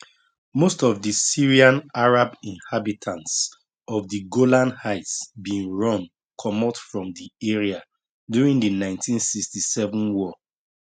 most of di syrian arab inhabitants of di golan heights bin run comot from di area during di 1967 war